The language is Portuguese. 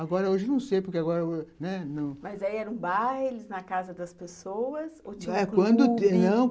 Agora hoje não sei, porque agora, né... Mas era um baile na casa das pessoas?